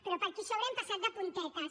però per aquí sobre hi hem passat de puntetes